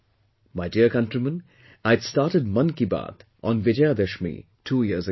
My dear countrymen, I had started 'Mann Ki Baat' on Vijayadashmi two years ago